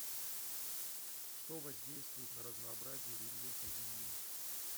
что воздействует на разнообразие рельефа земли